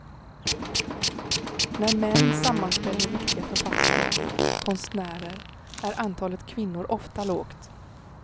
När män sammanställer viktiga författare, konstnärer är antalet kvinnor ofta lågt.